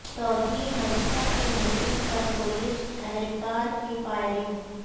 توہین مذہب کے مجرم پر پولیس اہلکار کی فائرنگ